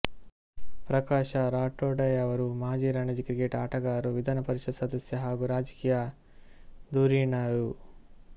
ಪ್ರಕಾಶ ರಾಠೋಡಯವರು ಮಾಜಿ ರಣಜಿ ಕ್ರಿಕೆಟ್ ಆಟಗಾರರು ವಿಧಾನ ಪರಿಷತ್ ಸದಸ್ಯರು ಹಾಗೂ ರಾಜಕೀಯ ಧುರೀಣರು